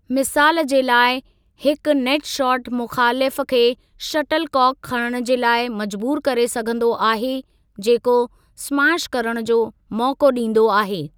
मिसाल जे लाइ, हिकु नेट शॉट मुख़ालिफ़ु खे शटलकॉक खणणु जे लाइ मजबूर करे सघंदो आहे, जेको स्मैश करणु जो मौक़ो डीं॒दो आहे।